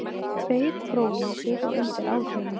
Tveir próflausir og undir áhrifum